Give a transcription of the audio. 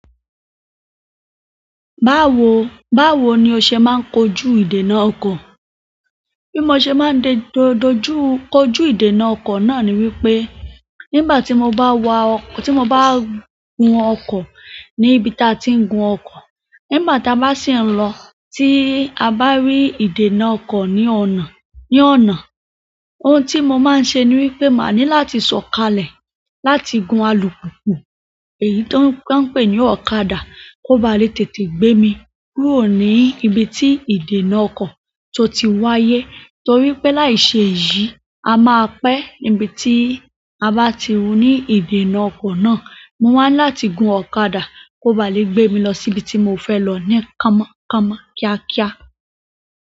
Báwo, báwo ni o ṣe máa ń kojú ìdènà ọkọ̀? Bí mo ṣe máa ń dojú kojú ìdènà ọkọ̀ náà ni wípé nígbà tí mo bá wa ọkọ̀, tí mo bá gùn ọkọ̀ ní ibi tí a ti ń gun ọkọ̀, nígbà tí a bá sì ń lọ tí a bá rí ìdènà ọkọ̀ ní ọ̀nà, ní ọ̀nà. Ohun tí mo máa ń ṣe ni wípé màá ní láti sọ̀kalẹ̀ láti gun alùpùpù èyí tó ń pè ní ọ̀kadà kó ba lè tètè gbé mi kúrò ní ibi tí ìdènà ọkọ̀ tó ti wáyé. Torí pé láìṣe yìí, a máa pẹ́ níbi tí a bá ti wù ní ìdènà ọkọ̀ náà. Mo wá ń láti gun ọ̀kadà kó ba lè gbé mi lọ sí ibi tí mo fẹ́ lọ ní kámọ́kámọ́ kíákíá.